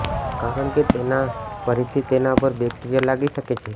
કારણ કે તેનાથી ફરીથી તેના પર બેક્ટેરિયા લાગી શકે છે